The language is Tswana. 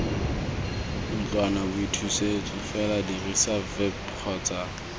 ntlwanaboithusetso fela dirisa vip kgotsa